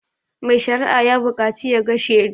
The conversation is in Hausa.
Mai sharia ya buƙacu ya ga shedu